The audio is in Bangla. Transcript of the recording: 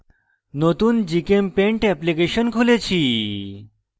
নতুন gchempaint এপ্লিকেশন খুলেছি